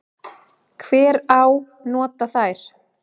Hver á nota þær?